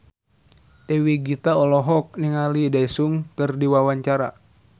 Dewi Gita olohok ningali Daesung keur diwawancara